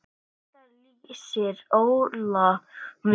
Þetta lýsir Óla vel.